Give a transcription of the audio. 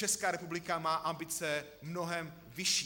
Česká republika má ambice mnohem vyšší.